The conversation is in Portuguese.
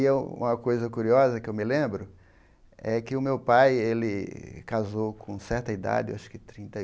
E um uma coisa curiosa que eu me lembro é que o meu pai, ele casou com certa idade, acho que trinta e